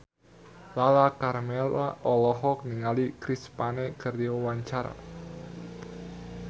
Lala Karmela olohok ningali Chris Pane keur diwawancara